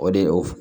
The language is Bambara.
O de o